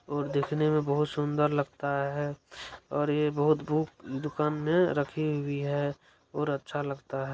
और देखने में बहुत सुंदर लगता है और ये बहुत बुक दुकान में रखी हुई है और अच्छा लगता है।